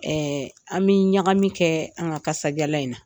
Ɛɛ an bI ɲagamin kɛ an ka kasajalan in na.